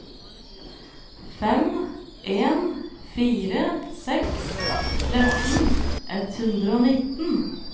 fem en fire seks tretten ett hundre og nitten